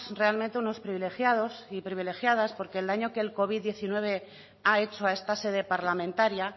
realmente unos privilegiados y privilegiadas porque el daño que la covid diecinueve ha hecho a esta sede parlamentaria